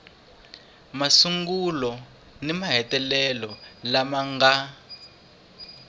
masungulo ni mahetelelo lama nga